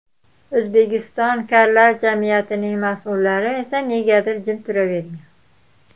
O‘zbekiston karlar jamiyatining mas’ullari esa negadir jim turavergan.